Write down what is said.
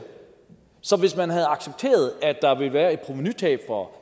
så hvis man havde accepteret at der ville være et provenutab for